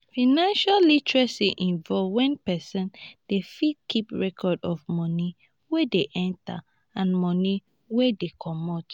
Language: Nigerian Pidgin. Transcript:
financial literacy involve when person dey fit keep record of money wey dey enter and money wey dey comot